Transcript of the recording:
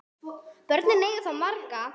Börnin eiga þá marga